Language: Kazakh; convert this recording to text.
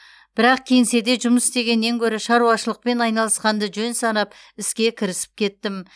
бірақ кеңседе жұмыс істегеннен гөрі шаруашылықпен айналысқанды жөн санап іске кірісіп кеттім